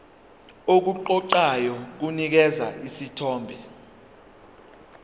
okuqoqayo kunikeza isithombe